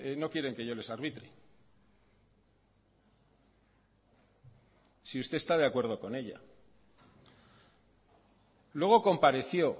no quieren que yo les arbitre si usted está de acuerdo con ella luego compareció